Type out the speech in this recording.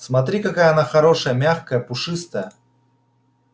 смотри какая она хорошая мягкая пушистая